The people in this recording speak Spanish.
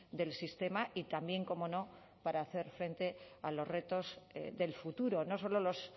del sistema y también cómo no para hacer frente a los retos del futuro no solo los